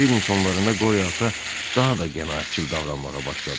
Üçüncü ilin sonlarında Qoryo ata daha da qənaətcil davranmağa başladı.